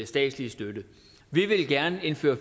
statslige støtte vi ville gerne indføre